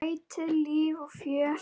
Ætíð líf og fjör.